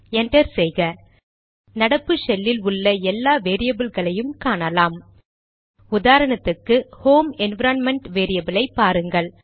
enter செய்க நடப்பு ஷெல்லில் உள்ள எல்லா வேரியபில்களையும் காணலாம் உதாரணத்துக்கு ஹோம் என்விரான்மென்ட் வேரியபிலை பாருங்கள்